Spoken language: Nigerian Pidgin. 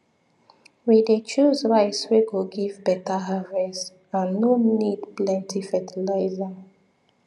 we dey choose rice wey go give better harvest and no need plenty fertiliser